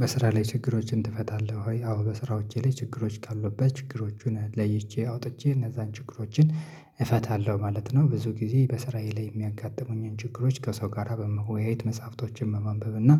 በስራ ላይ ችግሮችን ትፈታለህ ወይ? አዎ በስራው እቼ ላይ ችግሮች ካሉበት በችግሮቹን ለይቼ አውጥቼ እነዛን ችግሮችን እፈታለሁ ማለት ነው። ብዙ ጊዜ በስራዬ ላይ የሚያጋጥሙኝን ችግሮች ከሰው ጋራ በመወያየት መጽሐፍቶችን መማንበብ እና